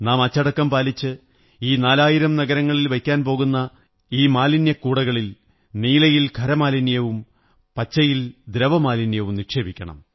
നാം അച്ചടക്കം പാലിച്ച് ഈ നാലായിരം നഗരങ്ങളിൽ വയ്ക്കാൻ പോകുന്ന ഈ മാലിന്യക്കൂടകളിൽ നീലയിൽ ഖരമാലിന്യങ്ങളും പച്ചയിൽ ദ്രവമാലിന്യങ്ങളും നിക്ഷേപിക്കണം